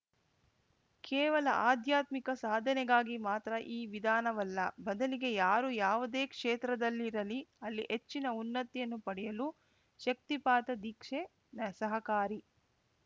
ಕೇವಲ ಅಧ್ಯಾತ್ಮಿಕ ಸಾಧನೆಗಾಗಿ ಮಾತ್ರ ಈ ವಿಧಾನವಲ್ಲ ಬದಲಿಗೆ ಯಾರು ಯಾವುದೇ ಕ್ಷೇತ್ರದಲ್ಲಿರಲಿ ಅಲ್ಲಿ ಹೆಚ್ಚಿನ ಉನ್ನತಿಯನ್ನು ಪಡೆಯಲು ಶಕ್ತಿಪಾತ ದೀಕ್ಷೆ ಸಹಕಾರಿ